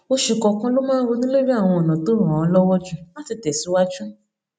oṣù kòòkan ló máa ń ronú lórí àwọn ònà tó ràn án lọwọ jù láti tẹsíwájú